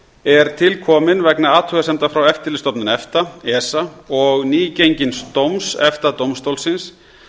er til komin vegna athugasemda frá eftirlitsstofnun efta esa og nýgengins dóms efta dómstólsins